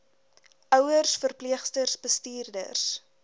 ouers verpleegsters bestuurders